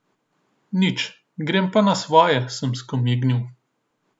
Nič, grem pa na svoje, sem skomignil.